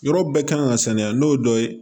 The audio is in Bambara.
Yɔrɔ bɛɛ kan ka saniya n'o ye dɔ ye